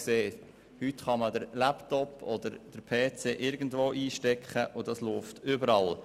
Heute kann man den Laptop oder den PC irgendwo einstecken, und dieser läuft überall.